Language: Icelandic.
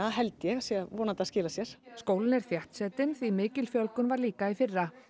held ég vonandi að skila sér skólinn er þéttsetinn því mikil fjölgun var líka í fyrra